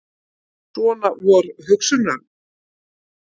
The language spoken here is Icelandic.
Svona vor hugsanirnar.